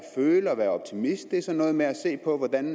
føle og at være optimist det er sådan noget med at se på hvordan